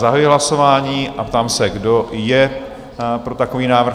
Zahajuji hlasování a ptám se, kdo je pro takový návrh?